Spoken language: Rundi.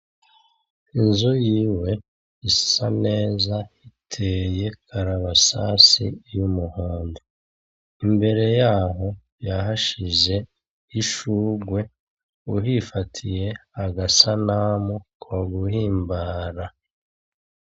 Inzu yiwe isa neza iteye karabasase y'umuhondo. Imbere yaho, yahashize ishurwe. Uhifatiye agasanamu ko guhimbara.